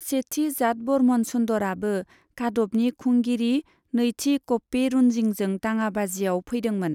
सेथि जाटवर्मन सुन्दराबो कादबनि खुंगिरि नैथि क'प्पेरुनजिंजों दाङाबाजियाव फैदोंमोन।